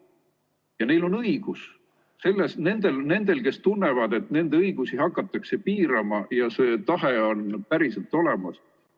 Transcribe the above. Ja neil on õigus, nendel, kes tunnevad, et nende õigusi hakatakse piirama, ja see tahe on päriselt olemas.